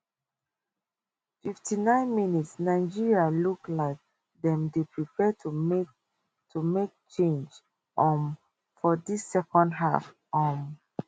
fifty nine mins nigeria look like dem dey prepare to make to make change um for dis second half um